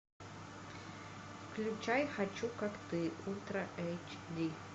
включай хочу как ты ультра эйч ди